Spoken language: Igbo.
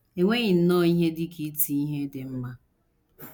E nweghị nnọọ ihe dị ka iti ihe dị mma.